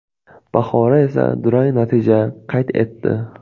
Bahora esa durang natija qayd etdi.